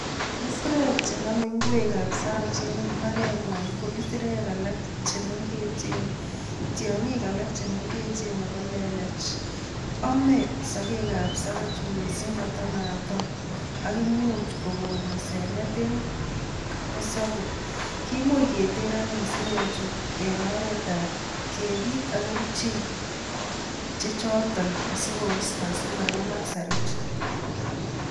Isirek chenome ingwek ab sarooch en imbarenyon ko isirek alak che mengechen, tiongik alak Che mengechen ak kolelach oome sogekab saroch missing kotonaton, ak imuuch kokon asanet en kipkosobei. Kimuche keter anyun isirechuton en oretan kebiit ak kerichek che choton asikoisto simangemaak sarooch.